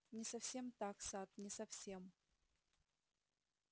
не совсем так сатт не совсем